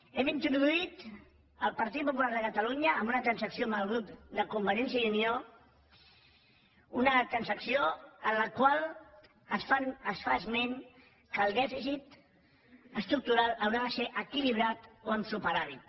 hem introduït el partit popular de catalunya en una trans acció amb el grup de convergència i unió una trans acció en la qual es fa esment que el dèficit estructural haurà de ser equilibrat o amb superàvit